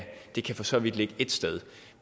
det kan for så vidt ligge ét sted